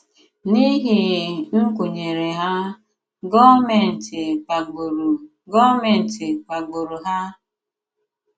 N’ihi nkwùnyere hà, gọọ̀mèntì kpàgburu gọọ̀mèntì kpàgburu hà.